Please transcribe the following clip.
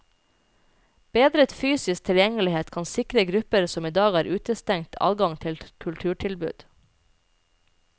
Bedret fysisk tilgjengelighet kan sikre grupper som i dag er utestengt adgang til kulturtilbud.